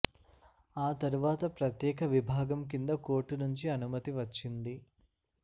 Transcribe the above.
ఆ తరువాత ప్రత్యేక విభాగం కింద కోర్టు నుంచి అనుమతి వచ్చింది